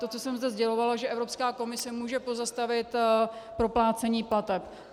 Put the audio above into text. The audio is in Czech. To, co jsem zde sdělovala, že Evropská komise může pozastavit proplácení plateb.